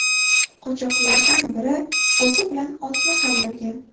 Qochoqlardan biri o‘zi bilan otini ham olgan.